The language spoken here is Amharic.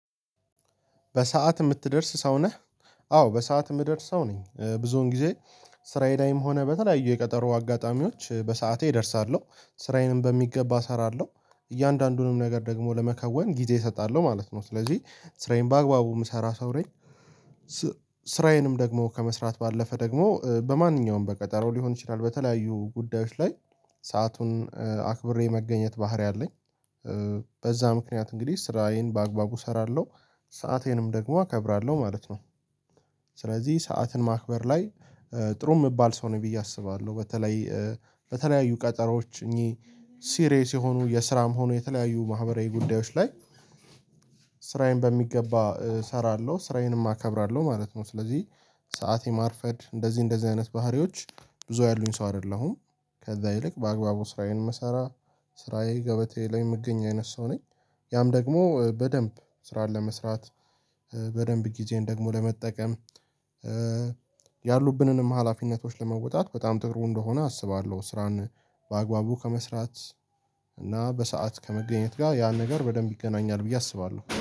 በሰአት የምትደርስ ሰው ነህ? አዎ በሰአት የምደርስ ሰው ነኝ ብዙውን ጊዜ ስራዬ ላይም ሆነ በተለያዩ የቀጠሮ አጋጣሚዎች በሰአቴ እደርሳለሁ ስራዬንም በሚገባ እሰራለሁ እያንዳንዱንም ነገር ደግሞ ለመከወን ጊዜ እሰጣለሁ ማለት ነው ስለዚህ ስራዬን በአግባቡ የምሰራ ሰው ነኝ። ስ ስራዬንም ደግሞ ከመስራት ባለፈ ደግሞ በማንኛውም በቀጠሮ ሊሆን ይችላል በተለያዩ ጉዳዮች ላይ ሰአቱን እ አክብሬ መገኘት ባህሪ አለኝ። በዛ ምክንያት እንግዲህ ስራዬን በአግባቡ እሰራለሁ ሰአቴንም ደግሞ አከብራለሁ ማለት ነው። ስለዚህ ሰዓትን ማክበር ላይ ጥሩ የምባል ሰው ነኝ ብዬ አስባለሁ። በተለይ በተለያዩ ቀጠሮዎች እኚህ ሲሪየስ የሆኑ የስራም ሆኑ የተለያዩ ማህበራዊ ጉዳዮች ላይ ስ ስራዬን በሚገባ እሰራለሁ ስራዬንም አከብራለሁ ማለት ነው። ስለዚህ ሰዓት የማርፈድ እንደዚህ እንደዚህ አይነት ባህሪዎች ብዙ ያሉኝ ሰው አይደለሁም። ከዛ ይልቅ በአግባቡ ስራዬን ምሰራ ስራዬ ገበታዬ ላይ የምገኝ አይነት ሰው ነኝ። ያም ደግሞ በደንብ ስራን ለመስራት በደንብ ጊዜን ደግሞ ለመጠቀም እ ያሉብንንም ሀላፊነቶች ለመወጣት በጣም ጥሩ እንደሆነ አስባለሁ። ስራን በአግባቡ ከመስራት እና በሰአት ከመገኘት ጋር ያ ነገር በደንብ ይገናኛል ብዬ አስባለሁ